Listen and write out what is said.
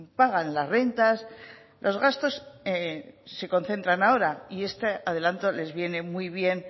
pagan las rentas los gastos se concentran ahora y este adelanto les viene muy bien